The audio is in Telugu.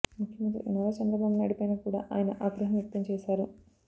ముఖ్యమంత్రి నారా చంద్రబాబు నాయుడు పైన కూడా ఆయన ఆగ్రహం వ్యక్తం చేశారు